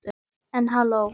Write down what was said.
En halló.